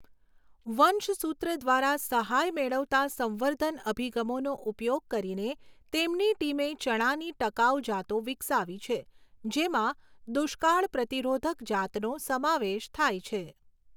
વંશસૂત્ર દ્વારા સહાય મેળવતા સંવર્ધન અભિગમોનો ઉપયોગ કરીને, તેમની ટીમે ચણાની ટકાઉ જાતો વિકસાવી છે, જેમાં દુષ્કાળ પ્રતિરોધક જાતનો સમાવેશ થાય છે.